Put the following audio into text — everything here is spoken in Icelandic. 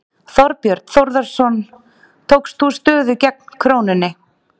Þorbjörn Þórðarson: Tókst þú stöðu gegn krónunni?